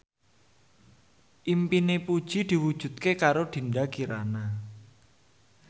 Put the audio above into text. impine Puji diwujudke karo Dinda Kirana